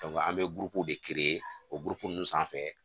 an bɛ burukuruw de o buruku ninnu sanfɛ